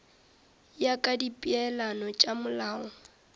ya ka dipeelano tša molao